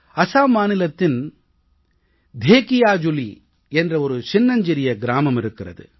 அசாம் மாநிலத்தின் தேகியாஜுலீ என்ற ஒரு சின்னஞ்சிறிய கிராமம் இருக்கிறது